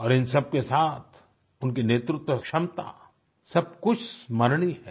और इन सबके साथ उनकी नेतृत्व क्षमता सब कुछ स्मरणीय है